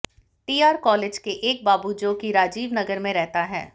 TR college के एक बाबू जो कि राजीव नगर में रहता है